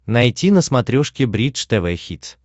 найти на смотрешке бридж тв хитс